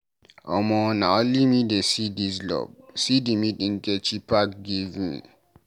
Omo, na only me dey see dis love, see the meat Nkechi pack give me.